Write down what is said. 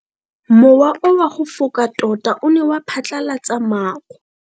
Mowa o wa go foka tota o ne wa phatlalatsa maru.